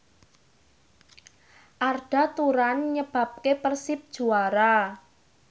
Arda Turan nyebabke Persib juara